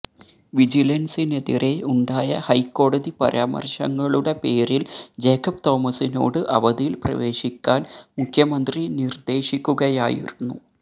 വിജിലന്സിനെതിരെ ഉണ്ടായ ഹൈക്കോടതി പരാമര്ശങ്ങളുടെ പേരില് ജേക്കബ് തോമസിനോട് അവധിയില് പ്രവേശിക്കാന് മുഖ്യമന്ത്രി നിര്ദേശിക്കുകയായിരുന്നു